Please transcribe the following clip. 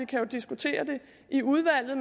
kan jo diskutere det i udvalget